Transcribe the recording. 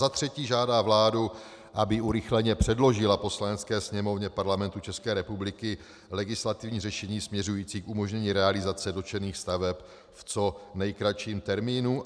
Za třetí žádá vládu, aby urychleně předložila Poslanecké sněmovně Parlamentu České republiky legislativní řešení směřující k umožnění realizace dotčených staveb v co nejkratším termínu.